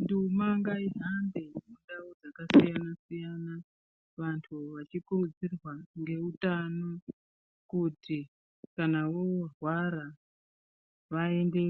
Nduma ngaihambe mundau dzakasiyanasiyana vantu vachikurudzirwa ngeutano kuti kana voorwara vaende